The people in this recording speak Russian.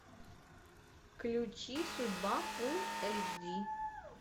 включи судьба фул эйч ди